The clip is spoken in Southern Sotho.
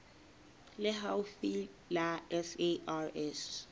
le haufi le la sars